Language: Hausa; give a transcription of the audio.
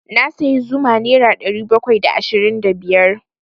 Na sayi zuma nera ɗari bakwai da ashirin da biyar.